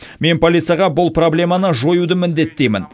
мен полицияға бұл проблеманы жоюды міндеттеймін